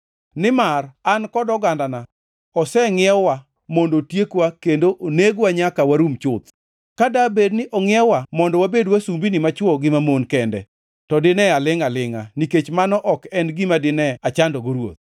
Nimar an kod ogandana osengʼiew-wa mondo otiekwa kendo onegwa nyaka warum chuth. Ka dabed ni ongʼiew-wa mondo wabed wasumbini machwo gi mamon kende, to dine alingʼ alingʼa, nikech mano ok en gima dine achandogo ruoth.”